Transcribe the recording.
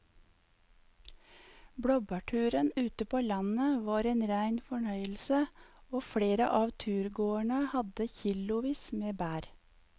Blåbærturen ute på landet var en rein fornøyelse og flere av turgåerene hadde kilosvis med bær.